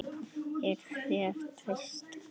Er þér treyst bara svona?